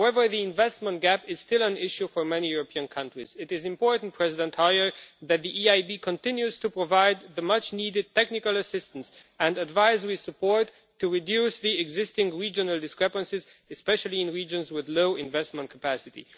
However, the investment gap is still an issue for many European countries. It is important, President Hoyer, that the EIB should continue to provide much needed technical assistance and advisory support to reduce the existing regional discrepancies, especially in regions with low investment capacity.